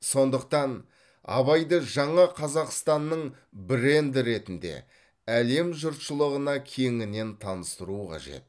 сондықтан абайды жаңа қазақстанның бренді ретінде әлем жұртшылығына кеңінен таныстыру қажет